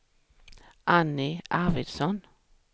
Annie Arvidsson